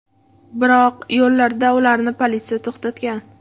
Biroq yo‘lda ularni politsiya to‘xtatgan.